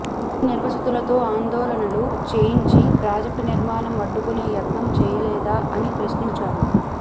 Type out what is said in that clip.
భూ నిర్వాసితులతో ఆందోళనలు చేయించి ప్రాజెక్ట్ నిర్మాణం అడ్డుకునే యత్నం చెయ్యలేదా అని ప్రశ్నించారు